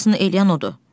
Hamısını eləyən odur.